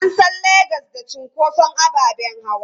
An san Legas da cunkoson ababen hawa.